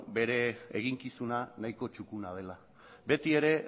bere eginkizuna nahiko txukuna dela beti ere